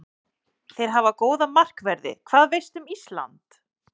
Þeir hafa góða markverði Hvað veistu um Ísland?